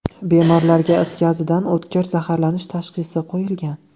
Bemorlarga is gazidan o‘tkir zaharlanish tashxisi qo‘yilgan.